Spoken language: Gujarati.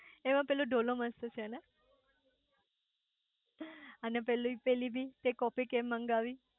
એમાં પેલો ધૂલો મસ્ત છે ને અને પેલી પેલી બી તે કોફી કેમ મંગાવી